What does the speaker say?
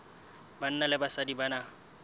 banna le basadi ba na